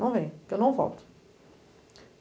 Não venha, porque eu não volto.